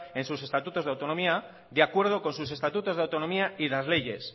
en sus estatutos de autonomía de acuerdo con sus estatutos de autonomía y las leyes